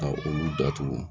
Ka olu datugu